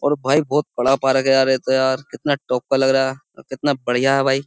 और भाई बोहोत बड़ा पार्क है ये तो यार कितना टॉप का लग रहा और कितना बढ़िया है भाई।